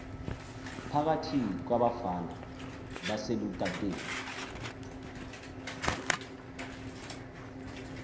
phakathi kwabafana baselutateni